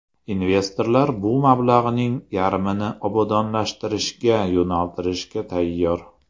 Investorlar bu mablag‘ning yarmini obodonlashtirishga yo‘naltirishga tayyor.